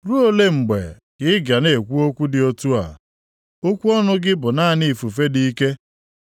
“Ruo ole mgbe ka i ga na-ekwu okwu dị otu a? Okwu ọnụ gị bụ naanị ifufe dị ike.